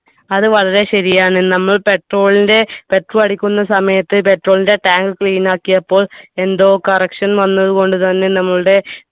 അത് വളരെ ശരിയാണ് നമ്മൾ petrol ന്റെ petrol അടിക്കുന്ന സമയത്ത് petrol ന്റെ tank clean ആക്കിയപ്പോൾ എന്തോ correction വന്നതുകൊണ്ട് തന്നെ നമ്മളുടെ